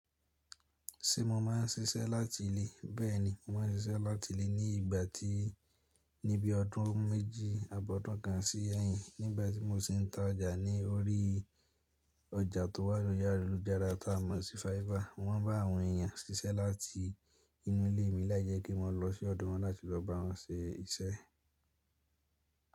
Ṣé mo máa ń ṣiṣẹ́ láti ilé? Bẹ́ẹ̀ni, mo má ń ṣiṣẹ́ láti ilé ní ìgbà tí, ní bí ọdún méjì àbọ̀dún kan sí ẹ̀yìn nígbà tí mo sì ń ta ọjà ní orí ọjà tó wà ní iyana olu garage ta mọ̀ sí fiber. Mọ́n bá àwọn èèyàn ṣiṣẹ́ láti inú ilé mi láì jẹ́ pé mo lọ sí ọ̀dọ̀ wọn láti lọ bá wọn ṣe iṣẹ́.